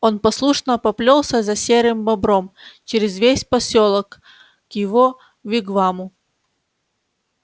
он послушно поплёлся за серым бобром через весь посёлок к его вигваму